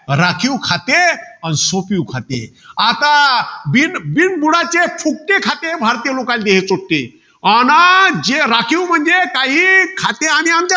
राखीव खाते अन सोपिव खाते. आता, बिन~ बिनबुडाचे फुटके खाते भारतीय लोकांना हे देत हते. आना जे राखीव म्हणजे खाते आणि अन